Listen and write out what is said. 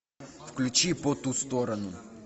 включи по ту сторону